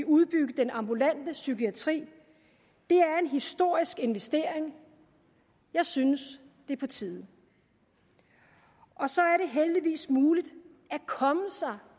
udbygge den ambulante psykiatri det er en historisk investering jeg synes det er på tide så er det heldigvis muligt at komme sig